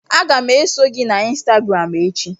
Aga m eso gị na ịnstagram echi